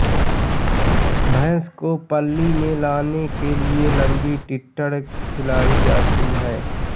भैंस को पाळी में लाने के लिये लंबी टिटण खिलाई जाती है